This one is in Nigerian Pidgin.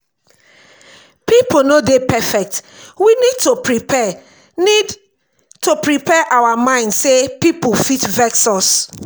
pipo no dey perfect we need to prepare need to prepare our mind sey pipo fit vex us